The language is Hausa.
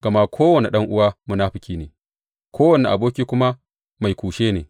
Gama kowane ɗan’uwa munafuki ne, kowane aboki kuma mai kushe ne.